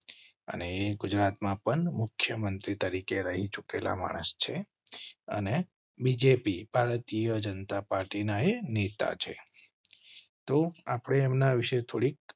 અને ગુજરાતમાં પણ મુખ્ય મંત્રી તરીકે રહી ચુકેલા માણસ છે અને બીજેપી ભારતીય જનતા પાર્ટી ના એ નેતા છે તો આપના વિષે થોડીક.